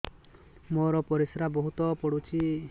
ମୋର ପରିସ୍ରା ବହୁତ ପୁଡୁଚି